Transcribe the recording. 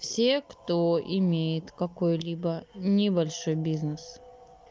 все кто имеет какой-либо небольшой бизнес